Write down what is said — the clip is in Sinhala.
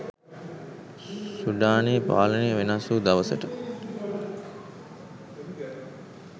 සුඩානයේ පාලනය වෙනස්වූ දවසට